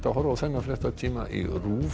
horfa á þennan fréttatíma í RÚV